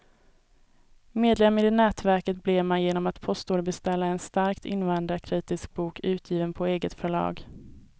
Medlem i det nätverket blev man genom att postorderbeställa en starkt invandringskritisk bok, utgiven på eget förlag.